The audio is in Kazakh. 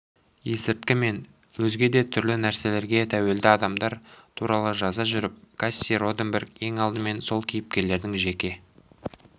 есірткі мен өзге де түрлі нәрселерге тәуелді адамдар туралы жаза жүріп касси роденберг ең алдымен сол кейіпкерлердің жеке